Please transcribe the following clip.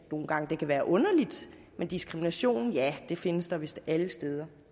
nogle gange kan være underligt men diskrimination ja det findes der vist alle steder